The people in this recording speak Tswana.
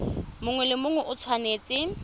mongwe le mongwe o tshwanetse